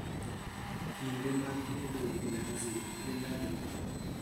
kinde mag tedo vinanzi en adi